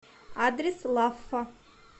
адрес лаффа